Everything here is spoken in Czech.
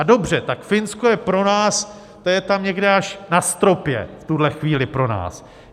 A dobře, tak Finsko je pro nás, to je tam někde až na stropě v tuhle chvíli pro nás.